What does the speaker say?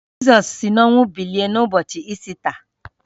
Jizọs si n’ọnwụ bilie n’ụbọchị Ista